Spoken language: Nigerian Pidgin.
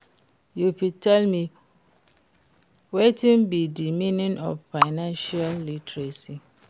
you fit tell me wetin be di meaning of financial literacy